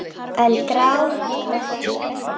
En grátum ekki.